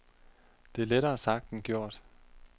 Det er lettere sagt end gjort.